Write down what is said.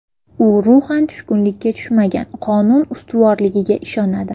U ruhan tushkunlikka tushmagan, qonun ustuvorligiga ishonadi.